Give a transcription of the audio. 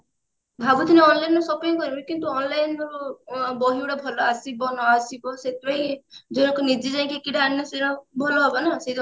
ଭାବୁଥିଲି online ରୁ shopping କରିବି କିନ୍ତୁ online ରୁ ବହି ଗୁଡା ଭଲ ଆସିବ ନ ଆସିବ ସେଥିପାଇଁ ଯାଇକି ନିଜେ ଯାଇକି ଭଲ ହବ ନା ସେଟା ଭାବୁଛି